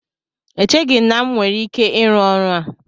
Echeghị m na m nwere ike ịrụ ọrụ a